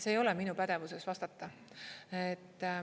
See ei ole minu pädevuses vastata.